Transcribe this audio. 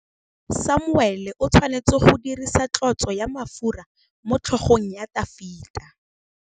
Samuele o tshwanetse go dirisa tlotsô ya mafura motlhôgong ya Dafita.